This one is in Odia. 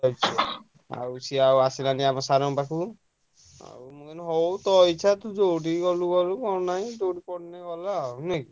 ଯାଉଛି ଆଉ ସିଏ ଆଉ ଆସିଲାଣି ଆମ sir ଙ୍କ ପାଖକୁ ଆଉ ମୁଁ କହିଲି ତୋ ଇଚ୍ଛା ତୁ ଯୋଉଠିକି ଗଲୁ ଗଲୁ ନହେଲେ ନାଇଁ ଯୋଉଠି ପଢିଲେ ଗଲା ଆଉ ନୁହେଁ କି?